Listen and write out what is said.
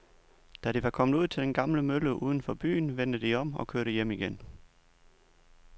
Da de var kommet ud til den gamle mølle uden for byen, vendte de om og kørte hjem igen.